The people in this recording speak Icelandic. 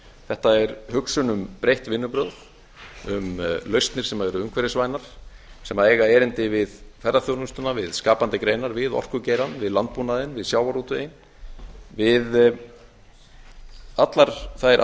þetta er hugsun um breytt vinnubrögð um lausnir sem eru umhverfisvænar sem eiga erindi við ferðaþjónustuna við skapandi greinar við orkugeirann við landbúnaðinn við sjávarútveginn við allar þær